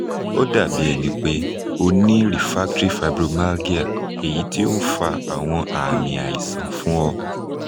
o dabi ẹnipe o ni refractory fibromyalgia eyiti o n fa awọn aami aisan fun ọ